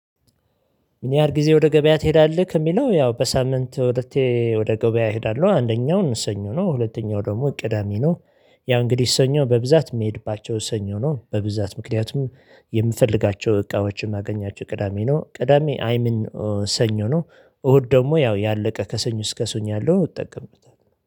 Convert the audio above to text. ምን ያህል ጊዜ ወደ ገበያ ትሄዳለህ ከሚለው ያው በሳምንት ሁለቴ ወደ ገበያ እሄዳለሁ አንደኛው ሰኞ ነው ሁለተኛው ደግሞ ቅዳሜ ነው፤ ያው እንግዲህ ሰኞ በብዛት የምሄድባቸው ሰኞ ነው በብዛት ምክንያቱም የምፈልጋቸው እቃዎችን ማገኛቸው ቅዳሜ ነው፤ ቅዳሜ አይምን ሰኞ ነው እሁድ ደግሞ ያው ያለቀ ከሰኙ እስከ ሰኙ ያለው ይጠቀምበታል።